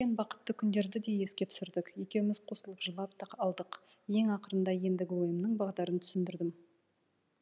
бақытты күндерді де еске түсірдік екеуміз қосылып жылап та алдық ең ақырында ендігі ойымның бағдарын түсіндірдім